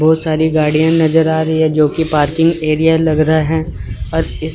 बहोत सारी गाड़ियां नजर आ रही है जो कि पार्किंग एरिया लग रहा है और इस--